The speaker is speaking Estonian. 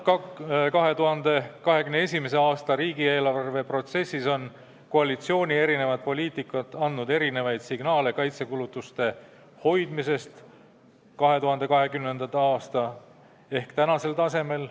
2021. aasta riigieelarve läbirääkimiste protsessis on koalitsiooniliikmete erinev poliitika andnud erinevaid signaale kaitsekulutuste hoidmise kohta tänasel, 2020. aasta tasemel.